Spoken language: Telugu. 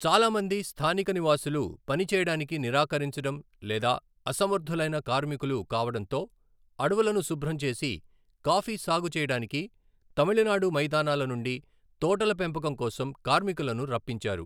చాలా మంది స్థానిక నివాసులు పని చేయడానికి నిరాకరించడం లేదా అసమర్థులైన కార్మికులు కావడంతో అడవులను శుభ్రం చేసి కాఫీ సాగు చేయడానికి తమిళనాడు మైదానాల నుండి తోటల పెంపకం కోసం కార్మికులను రప్పించారు.